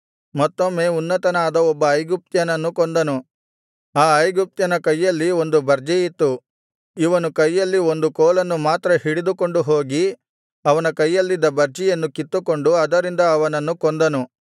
ಮತ್ತೊಮ್ಮೆ ಉನ್ನತನಾದ ಒಬ್ಬ ಐಗುಪ್ತ್ಯನನ್ನು ಕೊಂದನು ಆ ಐಗುಪ್ತ್ಯನ ಕೈಯಲ್ಲಿ ಒಂದು ಬರ್ಜಿಯಿತ್ತು ಇವನು ಕೈಯಲ್ಲಿ ಒಂದು ಕೋಲನ್ನು ಮಾತ್ರ ಹಿಡಿದುಕೊಂಡು ಹೋಗಿ ಅವನ ಕೈಯಲ್ಲಿದ್ದ ಬರ್ಜಿಯನ್ನು ಕಿತ್ತುಕೊಂಡು ಅದರಿಂದ ಅವನನ್ನು ಕೊಂದನು